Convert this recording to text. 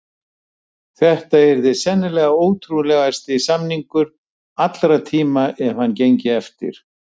Þetta yrði sennilega ótrúlegasti samningur allra tíma ef hann gengi eftir.